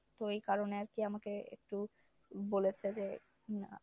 তো এই কারণে আরকি আমাকে একটু বলেছে যে আহ